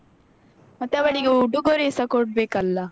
ಹಾ. ಮತ್ತೆ ಅವಳಿಗೆ ಉಡುಗೊರೆಸ ಕೊಡ್ಬೇಕಲ್ಲ?